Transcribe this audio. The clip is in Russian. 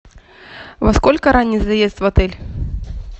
во сколько ранний заезд в отель